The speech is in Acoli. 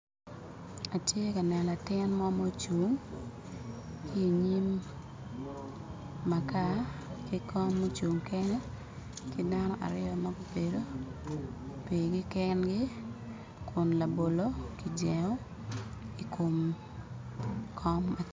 Atye ka neno latin mo mucung inyim makar ki kom mucung kene ki dano aryo ma gubedo pirgi kengi kun labolo kijengo i kom kom